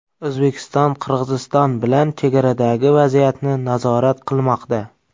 O‘zbekiston Qirg‘iziston bilan chegaradagi vaziyatni nazorat qilmoqda.